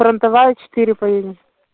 фронтовая четыре поедем